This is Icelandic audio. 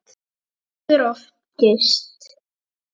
Fólk fer of geyst.